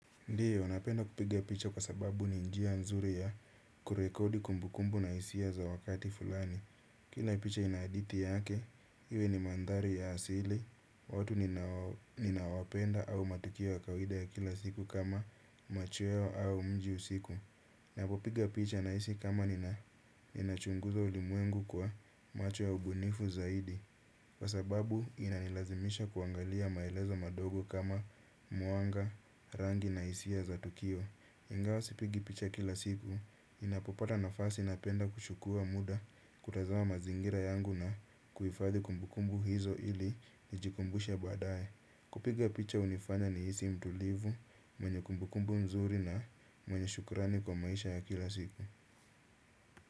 Ndiyo, napenda kupiga picha kwa sababu ni njia nzuri ya kurekodi kumbu kumbu na hisia za wakati fulani. Kila picha inahadithi yake, iwe ni manthari ya asili, watu ninawapenda au matukio ya kawaida ya kila siku kama macho yao au mji usiku. Ninapo piga picha nahisi kama nina chunguza ulimwengu kwa macho ya ubunifu zaidi. Kwa sababu inanilazimisha kuangalia maelezo madogo kama mwanga, rangi na hisia za tukio. Ingawa sipigi picha kila siku, ninapo pata nafasi napenda kuchukua muda kutazama mazingira yangu na kuhifadhi kumbukumbu hizo ili nijikumbushe badaye. Kupiga picha hunifanya ni hisi mtulivu, mwenye kumbukumbu nzuri na mwenye shukrani kwa maisha ya kila siku.